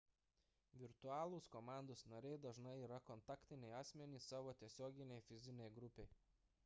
virtualūs komandos nariai dažnai yra kontaktiniai asmenys savo tiesioginei fizinei grupei